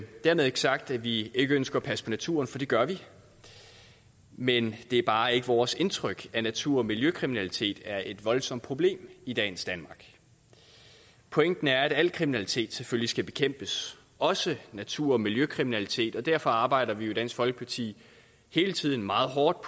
dermed ikke sagt at vi ikke ønsker at passe på naturen for det gør vi men det er bare ikke vores indtryk at natur og miljøkriminalitet er et voldsomt problem i dagens danmark pointen er at al kriminalitet selvfølgelig skal bekæmpes også natur og miljøkriminalitet og derfor arbejder vi i dansk folkeparti hele tiden meget hårdt